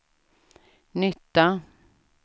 nytta